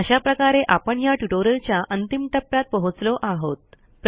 अशा प्रकारे आपण ह्या ट्युटोरियलच्या अंतिम टप्प्यात पोहोचलो आहोत